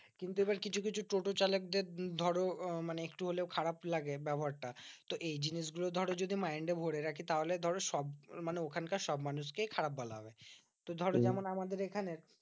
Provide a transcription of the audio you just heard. কিন্তু এবার কিছু কিছু টোটো চালকদের ধরো মানে একটু হলেও খারাপ লাগে ব্যবহারটা। তো এই জিনিসগুলো ধরো যদি mind এ ভরে রাখি তাহলে ধরো সব মানে ওখানকার সব মানুষকেই খারাপ বলা হবে। তো ধরো যেমন আমাদের এখানে